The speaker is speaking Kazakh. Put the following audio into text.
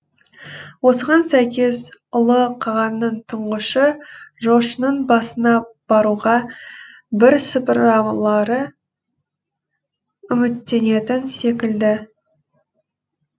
осыған сәйкес ұлы қағанның тұңғышы жошының басына баруға бірсыпыралары үміттенетін секілді